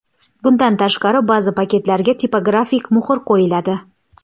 Bundan tashqari, ba’zi paketlarga tipografik muhr qo‘yiladi.